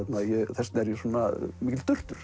þess vegna er ég svona mikill